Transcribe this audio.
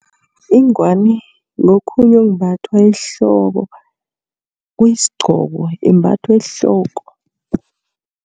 Ingwani ngokhunye okumbathwa ehloko kuyisgqoko imbathwa ehloko.